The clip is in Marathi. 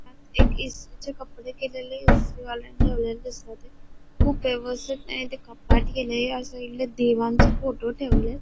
ह्यात एक इस्त्रीचे कपडे केलेले इस्त्रीवाल्याने ठेवलेले दिसताते खूप व्यवस्थित त्याने ते कपाट केलय या साइडला देवांचे फोटो ठेवलेत.